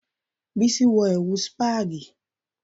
Bísí wọ ẹ̀wù spagi